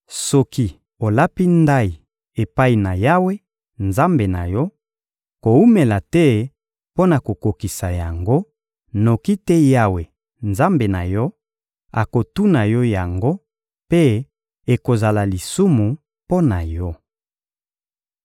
Soki olapi ndayi epai na Yawe, Nzambe na yo, kowumela te mpo na kokokisa yango; noki te Yawe, Nzambe na yo, akotuna yo yango mpe ekozala lisumu mpo na yo.